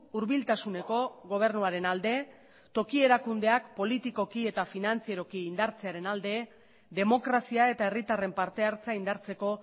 hurbiltasuneko gobernuaren alde toki erakundeak politikoki eta finantzieroki indartzearen alde demokrazia eta herritarren parte hartzea indartzeko